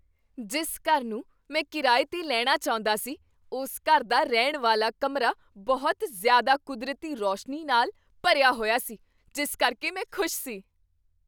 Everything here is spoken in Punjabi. ਜਿਸ ਘਰ ਨੂੰ ਮੈਂ ਕਿਰਾਏ 'ਤੇ ਲੈਣਾ ਚਾਹੁੰਦਾ ਸੀ, ਉਸ ਘਰ ਦਾ ਰਹਿਣ ਵਾਲਾ ਕਮਰਾ ਬਹੁਤ ਜ਼ਿਆਦਾ ਕੁਦਰਤੀ ਰੌਸ਼ਨੀ ਨਾਲ ਭਰਿਆ ਹੋਇਆ ਸੀ, ਜਿਸ ਕਰਕੇ ਮੈਂ ਖੁਸ਼ ਸੀ।